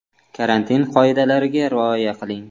Karantin qoidalariga rioya qiling.